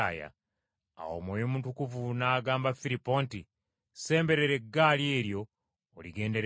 Awo Mwoyo Mutukuvu n’agamba Firipo nti, “Semberera eggaali eryo oligendereko.”